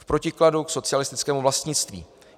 V protikladu k socialistickému vlastnictví.